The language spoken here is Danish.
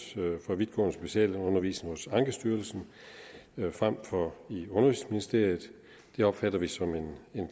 for vidtgående specialundervisning hos ankestyrelsen frem for i undervisningsministeriet det opfatter vi som en